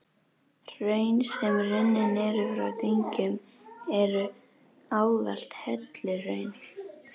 Hraun, sem runnin eru frá dyngjum, eru ávallt helluhraun.